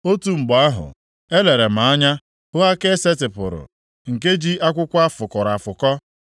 Otu mgbe ahụ, elere m anya hụ aka e setịpụrụ, nke ji akwụkwọ a fụkọrọ afụkọ,